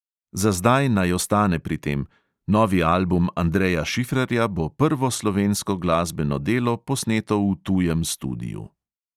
Za zdaj naj ostane pri tem – novi album andreja šifrerja bo prvo slovensko glasbeno delo, posneto v tujem studiu.